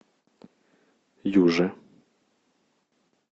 юже